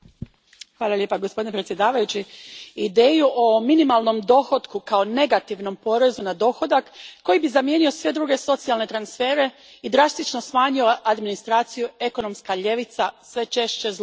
Gospodine predsjedniče, ideju o minimalnom dohotku kao negativnom porezu na dohodak koji bi zamijenio sve druge socijalne transfere i drastično smanjio administraciju ekonomska ljevica sve češće zloupotrebljava.